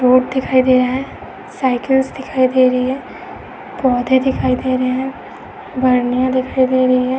Odd दिखाई दे रहा है साइकिल्स दिखाई दे रही है पौधे दिखाई दे रहे हैं दिखाई दे रही है।